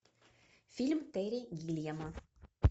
фильм терри гиллиама